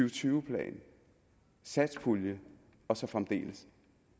og tyve plan satspulje og så fremdeles